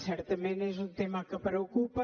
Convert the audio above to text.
certament és un tema que preocupa